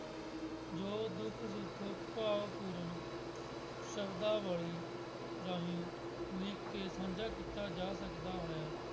ਜੋ ਦੁੱਖ ਸੁੱਖ ਭਾਵਪੂਰਨ ਸਰਧਾ ਵਾਲੀ ਗੱਲ ਲਿਖ ਕੇ ਸਾਂਝਾ ਕੀਤਾ ਜਾ ਸਕਦਾ ਹੈ।